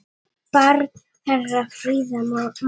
Barn þeirra Fríða Máney.